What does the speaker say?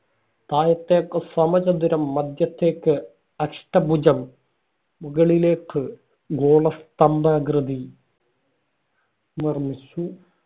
താഴത്തേക്ക് സമചതുരം, മധ്യത്തേക്ക് അഷ്ടഭുജം, മുകളിലേക്ക് ഗോളസ്തംഭാകൃതി നിര്‍മ്മിച്ചു.